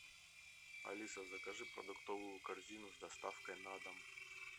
алиса закажи продуктовую корзину с доставкой на дом